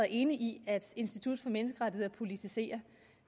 enig i at institut for menneskerettigheder politiserer